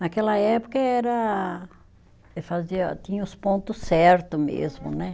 Naquela época era e fazia, tinha os ponto certo mesmo, né?